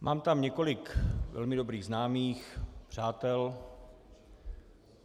Mám tam několik velmi dobrých známých, přátel.